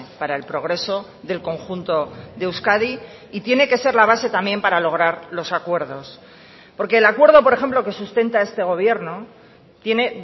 para el progreso del conjunto de euskadi y tiene que ser la base también para lograr los acuerdos porque el acuerdo por ejemplo que sustenta este gobierno tiene